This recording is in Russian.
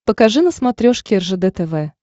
покажи на смотрешке ржд тв